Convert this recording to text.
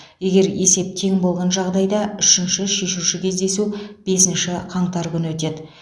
егер есеп тең болған жағдайда үшінші шешуші кездесу бесінші қаңтар күні өтеді